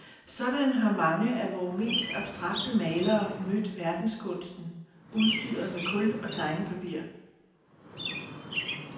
Sådan har mange af vore mest abstrakte malere mødt verdenskunsten, udstyret med kul og tegnepapir.